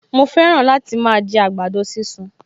Mo fẹ́ràn láti máa jẹ àgbàdo sísun